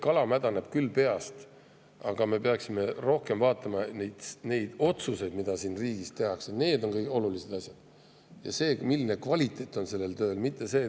Kala mädaneb küll peast, aga tegelikult me peaksime rohkem vaatama otsuseid, mida siin riigis tehakse, sest need on olulised, ja seda, milline on selle töö kvaliteet.